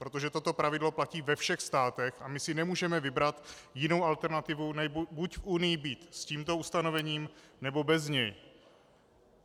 Protože toto pravidlo platí ve všech státech a my si nemůžeme vybrat jinou alternativu, než buď v Unii být s tímto ustanovením, nebo bez něj.